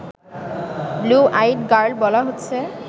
'blue-eyed girl' বলা হচ্ছে